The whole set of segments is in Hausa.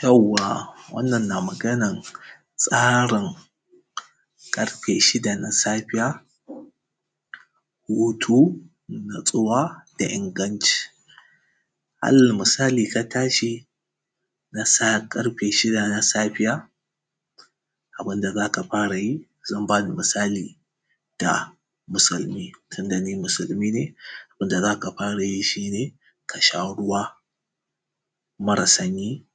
yawwa wannan na maganan tsarin ƙarfe shida na safiya hutu natsuwa da inganci alal misali ka tashi na sa ƙarfe shida na safiya abin da za ka fara yi zan ba da misali da musulmi tunda ni musulmi ne wanda za ka fara yi shi ne ka sha ruwa mara sanyi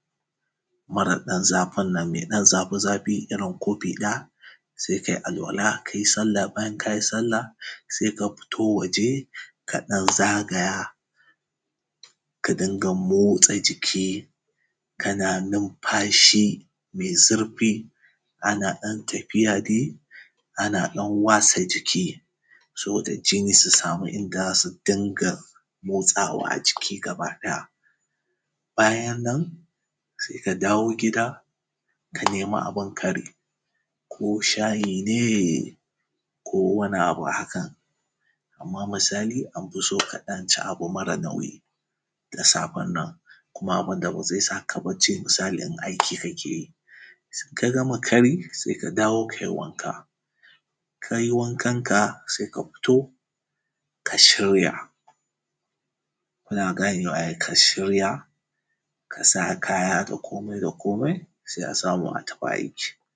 mara ɗan zafin nan mai ɗan zafi zafi irin kofi ɗaya sai ka yi alwala ka yi sallah bayan ka yi sallah sai ka fito waje ka ɗan zagaya ka dinga motsa jiki kana numfashi mai zurfi ana ɗan tafiya dai ana ɗan wasa jiki saboda jinni su samu inda za su dinga motsawa a jiki gaba ɗaya bayan nan sai ka dawo gida ka nemi abin kari ko shayi ne ko wani abu hakan amma misali an fi so ka ɗan ci abu mara nauyi da safen nan kuma abin da ba zai sa ka barci misali in aiki kake yi in ka gama kari sai ka dawo ka yi wanka in ka yi wankanka sai ka fito ka shirya kuna ganewa ai ka shirya ka sa kaya da komai da komai sai a samu: a tafi aiki